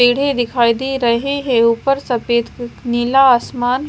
पेड़े दिखाई दे रहे हैं ऊपर सफेद नीला आसमान--